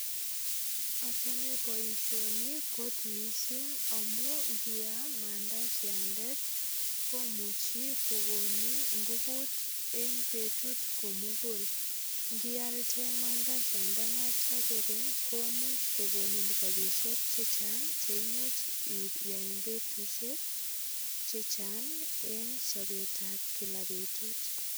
Achame boisioni kot mising amu ngiam mandasiandet komuchi kogonin nguvut en betut komugul. Ngial chemandasiandanotok kogeny komuch kogonin ropisiek che chang che imuch iya en betusiek che chang eng sopeta kila betut.